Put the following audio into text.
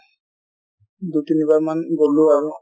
দুই তিনিবাৰ মান গʼল আৰু